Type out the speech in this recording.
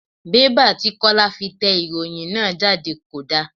Bẹ́bà tí Kọ́lá fi tẹ ìròhìn náà jáde kò da.